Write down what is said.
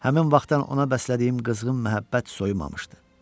Həmin vaxtdan ona bəslədiyim qızğın məhəbbət soyumamışdı.